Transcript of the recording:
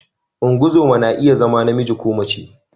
Ungozoma na iya zama namiji ko mace.